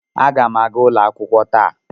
Aga m aga ụlọ akwụkwọ taa.